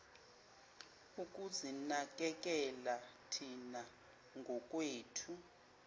ukuzinakekela thina ngokwethu